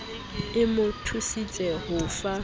e mo thusitse ho fa